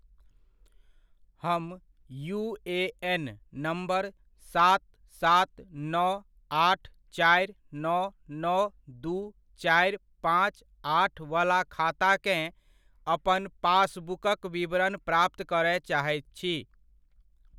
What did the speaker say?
हम UAN. Number सात सात नौ आठ चारि नौ नौ दू चारि पाँच आठ वला खाताकेँ अपन पासबुकक विवरण प्राप्त करय चाहैत छी।